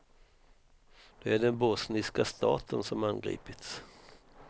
Det är den bosniska staten som angripits.